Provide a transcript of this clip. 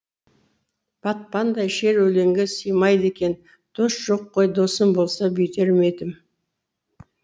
батпандай шер өлеңге сыймайды екен дос жоқ қой досым болса бүйтер ме едім